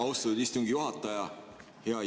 Austatud istungi juhataja!